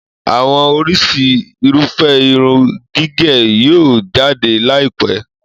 Àwọn oríṣi Irúfẹ́ irun gígẹ̀ yóò jáde láì pẹ́